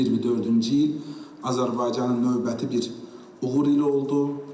2024-cü il Azərbaycanın növbəti bir uğur ili oldu.